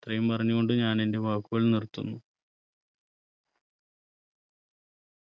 ഇത്രയും പറഞ്ഞു കൊണ്ട് ഞാൻ എന്റെ വാക്കുകൾ നിർത്തുന്നു